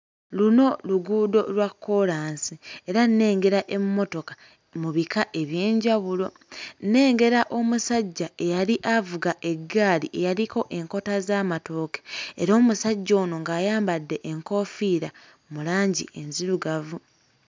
Luno luguudo lwa kkoolansi era nnengera emmotoka mu bika eby'enjawulo. Nnengera omusajja eyali avuga eggaali eyaliko enkota z'amatooke era omusajja ono ng'ayambadde enkofiira mu langi enzirugavu.